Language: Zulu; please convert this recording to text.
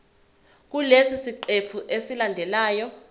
kulesi siqephu esilandelayo